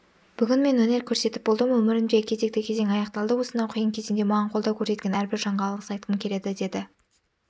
бүгін мен өнер көрсетіп болдым өмірімдегі кезекті кезең аяқталды осынау қиын кезеңде маған қолдау көрсеткен әрбір жанға алғыс айтқым келеді деді